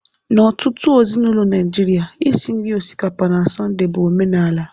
N'ọtụtụ ezinaụlọ Naịjirịa, Isi nri osikapa na Sọnde bụ omenala